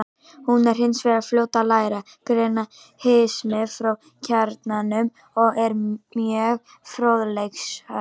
Hún er hins vegar fljót að læra, greina hismið frá kjarnanum og er mjög fróðleiksfús.